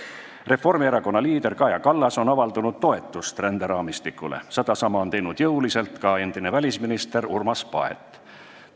Reformierakonna liider Kaja Kallas on avaldanud toetust ränderaamistikule ja sedasama on jõuliselt teinud ka endine välisminister Urmas Paet.